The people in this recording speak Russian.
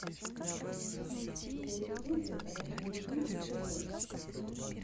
на ютубе радиолюбитель тв